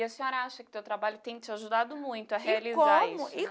E a senhora acha que o seu trabalho tem te ajudado muito a realizar isso, né? E como e